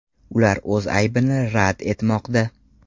Ular o‘z aybini rad etmoqda.